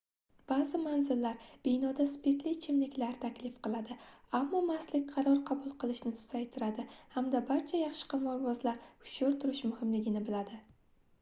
baʼzi manzillar binoda spirtli ichimliklar taklif qiladi ammo mastlik qaror qabul qilishni susaytiradi hamda barcha yaxshi qimorbozlar hushyor turish muhimligini biladi